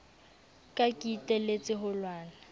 ka ke iteletse ho lwana